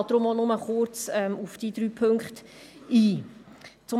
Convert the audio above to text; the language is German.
Ich gehe deshalb auch nur kurz auf die drei Punkte ein.